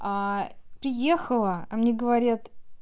а приехала а мне говорят